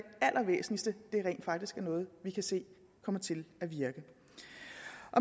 allervæsentligste rent faktisk er noget vi kan se kommer til at virke